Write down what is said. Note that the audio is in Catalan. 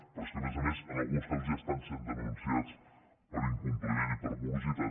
però és que a més a més en alguns casos ja estan sent denunciats per incompliment i per morositat